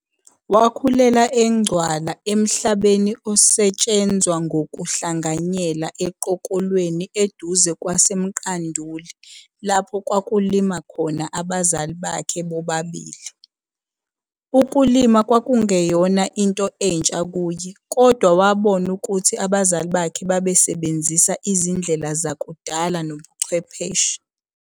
Wakhulela eNgcwala emhlabeni osetshenzwa ngokuhlanganyela eQokolweni eduze kwaseMqanduli lapho kwakulima khona abazali bakhe bobabili. Ukulima kwakungeyona into entsha kuye kodwa wabona ukuthi abazali bakhe babesasebenzisa inzindlela zakudala nobuchwepheshe.